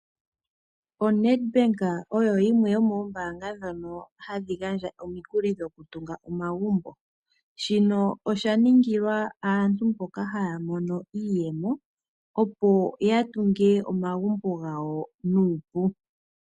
ONedbank oyo yimwe yomo ombanga dhono hadhi gandja omikuli dhoku tunga omagumbo. Shino osha ningila aantu mboka haya mono iiyemo opo ya tunge omagumbo gawo nuupu.